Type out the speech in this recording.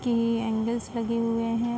कि एंगलर्स लगे हुए हैं।